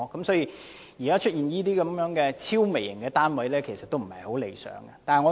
所以，現時出現這些超微型的單位，是不太理想的。